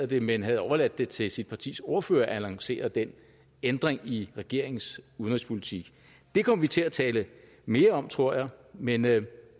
det men havde overladt det til sit partis ordfører at lancere den ændring i regeringens udenrigspolitik det kommer vi til at tale mere om tror jeg men